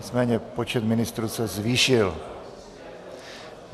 Nicméně počet ministrů se zvýšil.